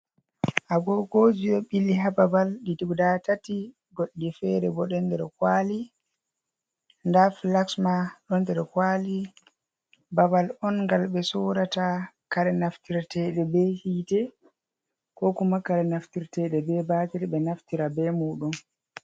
Agogoji on ɓili haa babal ɗi guda tati, goɗɗi fere bo ɗo nder kwaali. Nda flaks ma ɗo nder kwaali. Babal on ngal ɓe sorata kare naftirteɗe be hiite, ko kuma kare naftirteɗe be baatir, ɓe naftira be muɗum.